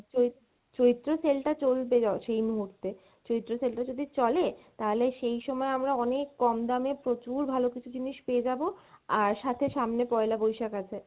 চৈ~ চৈত্র sell টা চলবে জ সেই মুহূর্তে, চৈত্র sell টা যদি চলে তাহলে সেই সময় আমরা অনেক কম দামে প্রচুর ভালো কিছু জিনিশ পেয়ে যাবো আর সাথে সামনে পয়লা বৈশাখ আছে,